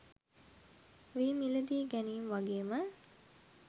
වී මිලදී ගැනීම් වගේම